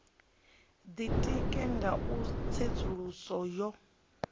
ditika nga u tsedzuluso yo